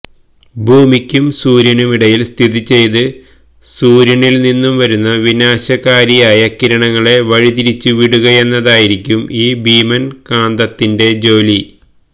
ഭൂമിക്കും സൂര്യനുമിടയില് സ്ഥിതി ചെയ്ത് സൂര്യനില് നിന്നും വരുന്ന വിനാശകാരിയായ കിരണങ്ങളെ വഴിതിരിച്ചു വിടുകയെന്നതായിരിക്കും ഈ ഭീമന് കാന്തത്തിന്റെ ജോലി